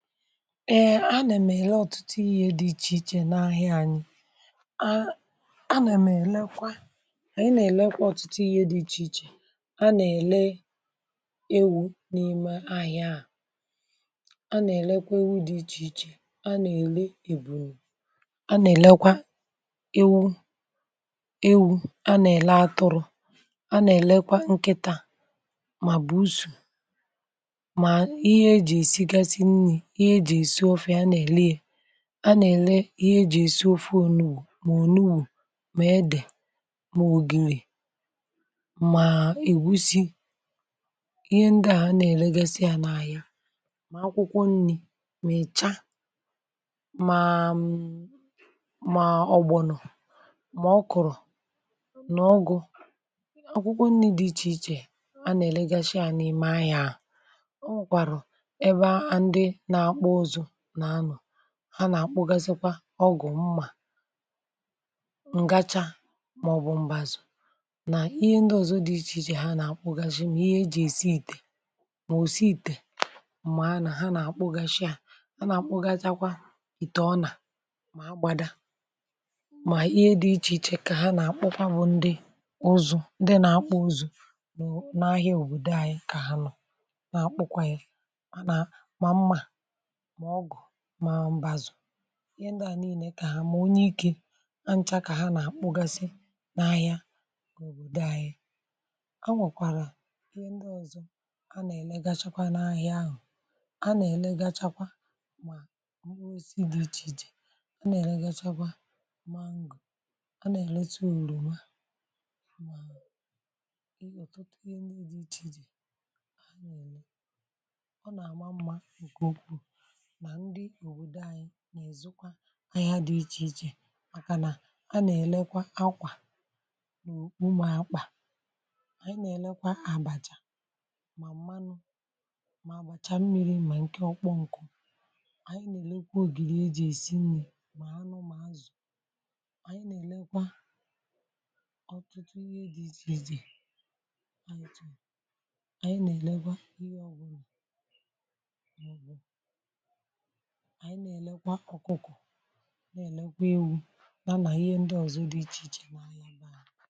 Ee anà m èle ọ̀tụtụ ihe dị ichè ichè n’ahịa anyị̇, anà m̀ èlekwa, ànyị nà-èlekwa ọ̀tụtụ ihe dị̇ ichè ichè anà-èle ewu̇ n’ime ahịa. à anà-èlekwa ewu dị̇ ichè ichè, anà-èle ebụne, a na elekwa iwu̇, ewu̇, anà-èle atụrụ, anà-èlekwa nkịtà, mà bùsu, ma ịhe eji esịgasị nrị, ịhe ejị esị ọfe ana ele ya, a nà-èle ihe ejì èsi ofe ònubù, mà ònubù, mà edè, mà ògìgè, mà èwusi, ihe ndị à a nà-èlegasị à n’anya. mà akwụkwọ nni̇, mị̀cha, mà um ogbònò, mà ọ kụ̀rụ̀ nà ọgụ, akwụkwọ nni̇ dị ichè ichè a nà-èlegasị à n’ime ahịȧ. Ọnwekarụ ebe ndị na akpụ ụzụ n anọ, ha nà-akpụgazịkwa ọgụ̀, mmà, ǹgachà, màọbụ̀ mbazụ̀, nà ihe ndị ọzọ dị̇ ichè ichè ha nà-akpụgàshị mà ihe ejì èsi ìtè, mà òsi ìtè, mà ha nà ha nà-akpụgàshị à, ha nà- akpụgachakwa ìtè, ọ nà mà gbada mà ihe dị̇ ichè ichè kà ha nà-akpụkwa bụ̀ ndị ụzụ̇, ndị nà-akpụ̇ ụzụ̇ nụ ahịa òbòdo anyị kà ha nọ̇ nà akpụkwànyị̀. Ma mma, ma ọgụ̀, ma mbazu̇, ihe ndị à niilė kà ha mà onye ikė ha nchà kà ha nà kpụgasị n’ahịa òbòdò ahịa. a nwèkwàrà ihe ndị ọzọ̇ a nà-èlegachakwa n’ahịa ahụ̀, a nà-èlegachakwa mà nwesi dị ichè ichè, a nà-èlegachakwa mango a nà-èleti òrùma, ị̀ ọ̀tọtọ ihe ndị dị ichè ichè dị ọ nà àma mma bùkwù ndị òbòdò anyị n’èzukwa anyị ha dị ichè ichè màkànà a nà-elekwa akwà, n’ùkpùmà akpà, ànyị nà-elekwa àbàchà, mà mmanụ, mà àbàchà mmiri, mà ǹke ọkpọ ǹkụ. ànyị nà-elekwa ògìdì e jì èsi nni, mà anụ, mà azụ̀, ànyị nà-èlekwa ọ̀tụtụ ihe e dị ichèichè. ànyị nà-èlekwa ihe ọbụrụ. ànyị nà-èlekwa ọkụkọ, nà-èlekwa ewu̇, nȧnà ihe ndị ọzọ dị̀ ichè ichè mà ǹọ̀bȧ.